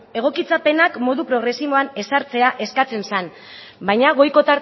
egokitzapenak modu progresiboan ezartzea eskatzen zen baina goiko